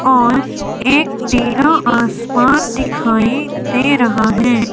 और एक नीला आसमान दिखाई दे रहा है।